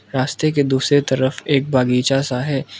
रास्ते के दूसरे तरफ एक बगीचा सा है।